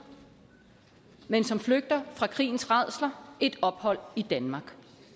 men som flygter fra krigens rædsler et ophold i danmark